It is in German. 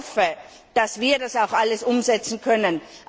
Ich hoffe, dass wir das auch alles umsetzen können.